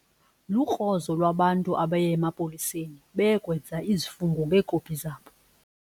Lukrozo lwabantu abaye emapoliseni beye kwenza izifungo ngeekopi zabo.